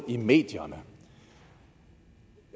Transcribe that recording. i medierne